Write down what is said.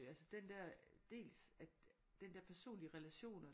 Altså den der dels at den der personlige relation og